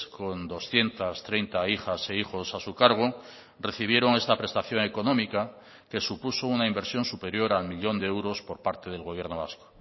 con doscientos treinta hijas e hijos a su cargo recibieron esta prestación económica que supuso una inversión superior al millón de euros por parte del gobierno vasco